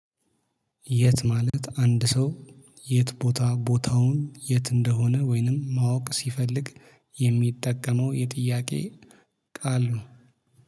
የት ማለት አንድ ሰው? የት ቦታ ቦታውን የት እንደሆነ ወይንም ማወቅ ሲፈልግ የሚጠቀመው የጥያቄ ቃል ነው